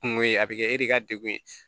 Kungo ye a bɛ kɛ e de ka degun ye